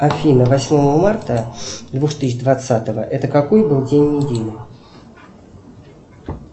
афина восьмое марта две тысячи двадцатого это какой был день недели